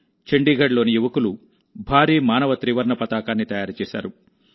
చండీగఢ్లో యువకులు భారీ మానవ త్రివర్ణ పతాకాన్ని తయారు చేశారు